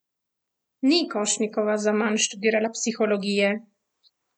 Ni Košnikova zaman študirala psihologije!